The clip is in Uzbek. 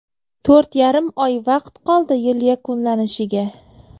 To‘rt yarim oy vaqt qoldi yil yakunlanishiga”.